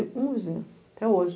um vizinho, até hoje.